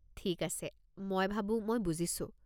ঠিক আছে, মই ভাবো মই বুজিছো।